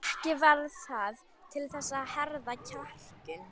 Ekki varð það til þess að herða kjarkinn.